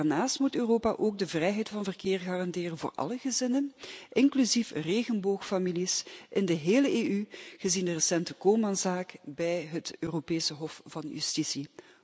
Daarnaast moet Europa ook de vrijheid van verkeer garanderen voor alle gezinnen, inclusief regenboogfamilies, in de hele EU, gezien de recente zaak-Coman bij het Europees Hof van Justitie.